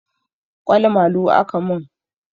Ƙwal malu aka mun